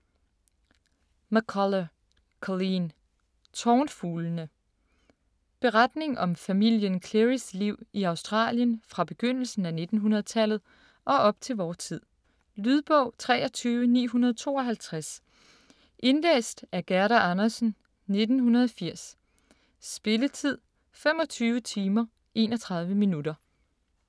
McCullough, Colleen: Tornfuglene Beretning om familien Cleary's liv i Australien fra begyndelsen af 1900-tallet og op til vor tid. Lydbog 23952 Indlæst af Gerda Andersen, 1980. Spilletid: 25 timer, 31 minutter.